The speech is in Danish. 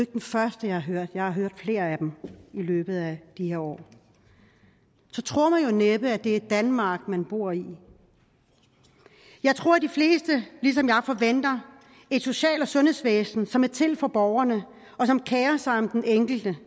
den første jeg har hørt jeg har hørt flere i løbet af de her år så tror man jo næppe at det er danmark man bor i jeg tror at de fleste ligesom jeg forventer et social og sundhedsvæsen som er til for borgerne og som kerer sig om den enkelte